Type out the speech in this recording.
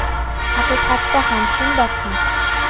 Haqiqatda ham shundoqmi?